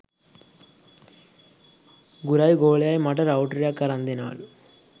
ගුරයි ගෝලයයි මට රවුටරයක් අරන් දෙනවලු